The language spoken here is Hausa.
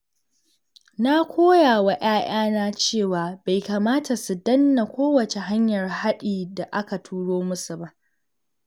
Na koya wa ƴaƴana cewa bai kamata su danna kowace hanyar haɗi da aka turo musu ba.